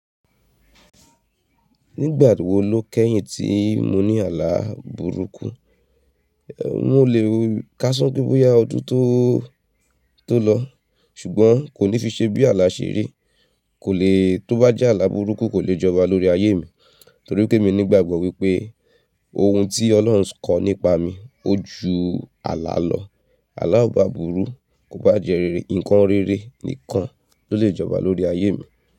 Nígbà wo ló kẹ́yìn tí mo ní ààlà burúkú? Èh, mo lè káso pé bóyá ọdún to tó lọ, ṣùgbọ́n kò ní fi ṣe bí ààlà ṣèri. Kò lè tó bá jẹ́ ààlà burúkú kò lè jọba lórí ayé mi, torí pé elmi ní ìgbàgbọ́ wípé ohun tí Ọlọ́run kọ nípa mi ó ju ààlà lọ. Àlàa obá burú kò bá jẹ rere, ǹkan rere nìkan ló lè jọba lórí ayé mi.